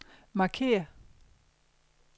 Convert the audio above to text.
markér